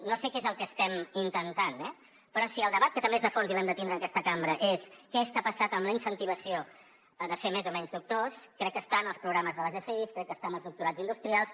no sé què és el que estem intentant eh però si el debat que també és de fons i l’hem de tindre en aquesta cambra és què està passant amb la incentivació de fer més o menys doctors crec que està en els programes de les fi crec que està en els doctorats industrials